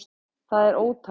Það er ótækt